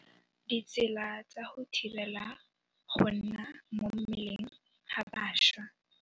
Ditsela tsa go thibela go nna mo mmeleng ga bašwa.